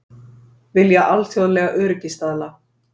Vilja alþjóðlega öryggisstaðla